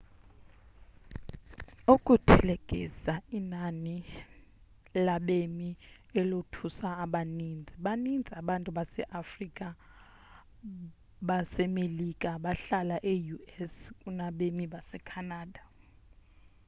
ukuthelekisa inani labemi elothusa abaninzi baninzi abantu base-afrika basemelika abahlala e-us kunabemi base canada